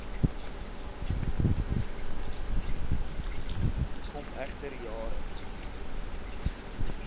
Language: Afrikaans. kom egter jare